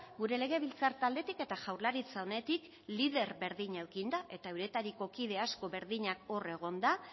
gure legebiltzar taldetik eta jaurlaritza honetik lider berdina eukinda eta euretariko kide asko berdinak hor egonda